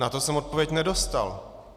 Na to jsem odpověď nedostal.